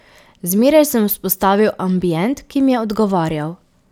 Zmeraj sem vzpostavil ambient, ki mi je odgovarjal.